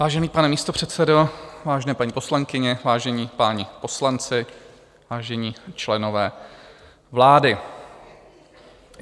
Vážený pane místopředsedo, vážené paní poslankyně, vážení páni poslanci, vážení členové vlády.